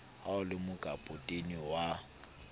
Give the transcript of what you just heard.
ha o le mokapotene wa